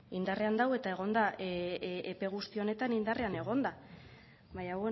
indarrean dago eta egon da epe guzti honetan indarrean egon da baina